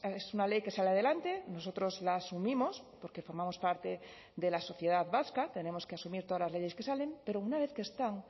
es una ley que sale adelante nosotros la asumimos porque formamos parte de la sociedad vasca tenemos que asumir todas las leyes que salen pero una vez que están